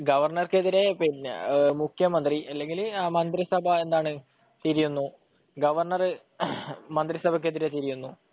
ഗവർണർക്കെതിരെ മുഖ്യമന്ത്രി അല്ലെങ്കിൽ മന്ത്രിസഭ തിരിയുന്നു ഗവർണർ മന്ത്രിസഭ ക്കെതിരെ തിരിയുന്നു